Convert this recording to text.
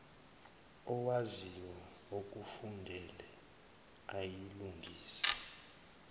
owaziyo okufundele ayilungise